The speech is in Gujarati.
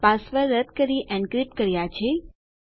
પાસવર્ડ રદ કરી એનક્રીપ્ટ કર્યા છે